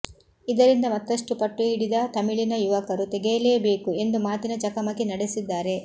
ಇದರಿಂದ ಮತ್ತಷ್ಟು ಪಟ್ಟು ಹಿಡಿದ ತಮಿಳಿನ ಯುವಕರು ತೆಗೆಯಲೇ ಬೇಕು ಎಂದು ಮಾತಿನ ಚಕಮಕಿ ನಡೆಸಿದ್ದಾರೆ